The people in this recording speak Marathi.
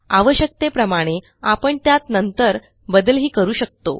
आवश्यकतेप्रमाणे आपण त्यात नंतर बदलही करू शकतो